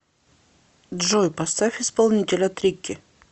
джой поставь исполнителя трикки